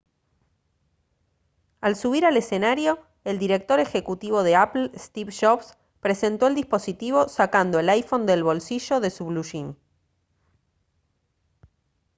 al subir a escenario el director ejecutivo de apple steve jobs presentó el dispositivo sacando el iphone del bolsillo de su bluyín